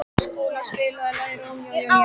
Skúla, spilaðu lagið „Rómeó og Júlía“.